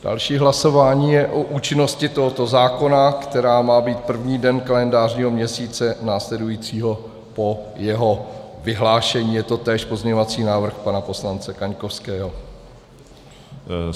Další hlasování je o účinnosti tohoto zákona, která má být první den kalendářního měsíce následujícího po jeho vyhlášení, je to též pozměňovací návrh pana poslance Kaňkovského .